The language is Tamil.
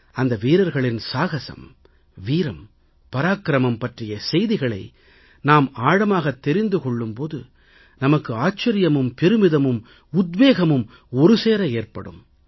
அந்த வீரர்களின் சாகசம் வீரம் பராக்கிரமம் பற்றிய செய்திகளை நாம் ஆழமாகத் தெரிந்து கொள்ளும் போது நமக்கு ஆச்சரியமும் பெருமிதமும் உத்வேகமும் ஒருசேர ஏற்படும்